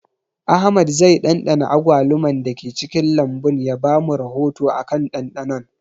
Ahmad zai ɗanɗana agwaluman da ke cikin lambun ya ba mu rahoto akan ɗanɗanon